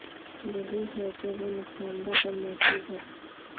یہی ہے کہ وہ نقصان دہ اور محفوظ ہیں